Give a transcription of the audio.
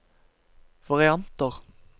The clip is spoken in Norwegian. varianter